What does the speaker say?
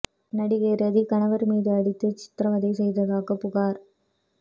நடிகை ரதி கணவர் மீது அடித்து சித்ரவதை செய்ததாக புகார்